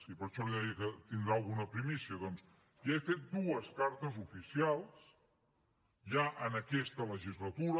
i per això li deia que tindrà alguna primícia doncs ja he fet dues cartes oficials ja en aquesta legislatura